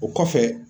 O kɔfɛ